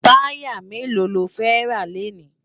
Tàyá méló ló fè rá lénì?